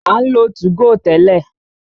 A ń lo 2go tẹ́lẹ̀.